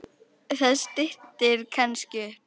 Það styttir kannski upp.